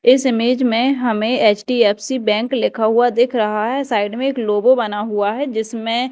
इस इमेज में हमें एच_डी_एफ_सी बैंक लिखा हुआ दिख रहा है साइड में एक लोगो बना हुआ है जिसमें--